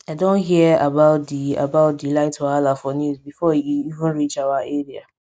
i don hear about di about di light wahala for news before e even reach our area